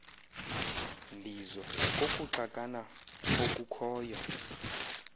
mbizo kokuxakana okukhoyo